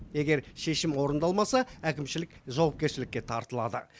егер шешім орындалмаса әкімшілік жауапкершілікке тартылады